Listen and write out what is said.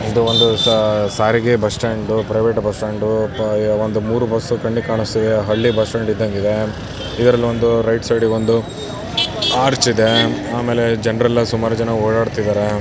ಇದು ಒಂದು ಸಾರಿಗೆ ಬಸ್ಟ್ಯಾಂಡು ಪ್ರೈವೇಟ್ ಬಸ್ಟ್ಯಾಂಡು ಒಂದು ಮೂರು ಬಸ್ಗಳೂ ಕಣ್ಣಿಗೆ ಕಾಣಿಸುತ್ತಿವೆ. ಹಳ್ಳಿ ಬಸ್ ಇದ್ದಂಗ ಇದೆ. ರೈಟ್ ಸೈಡಗಿ ಒಂದು ಅರ್ಚ ಇದೆ. ಆಮೇಲೆ ಜನರೆಲ್ಲರೂ ಸುಮಾರು ಓಡಾತ್ತಿದ್ದಾರೆ.